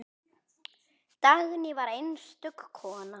Dagný var einstök kona.